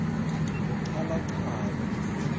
lochalachala